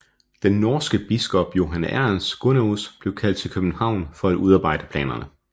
Den norske biskop Johan Ernst Gunnerus blev kaldt til København for at udarbejde planerne